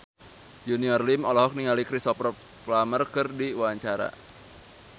Junior Liem olohok ningali Cristhoper Plumer keur diwawancara